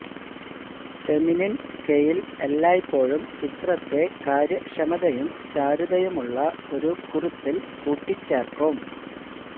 feminine scale എല്ലായ്പ്പോഴും ചിത്രത്തെ കാര്യക്ഷമതയും ചാരുതയുമുള്ള ഒരു കുറിപ്പിൽ കൂട്ടിച്ചേർക്കും